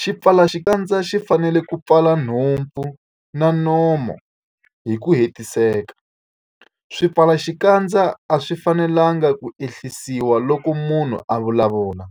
Xipfalaxikandza xi fanele ku pfala nhompfu na nomo hi ku hetiseka. Swipfalaxikandza a swi fanelanga ku ehlisiwa loko munhu a vulavula,